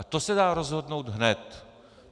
A to se dá rozhodnout hned.